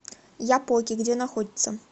япоки где находится